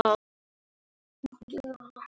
Helena byrjaði barnung að syngja.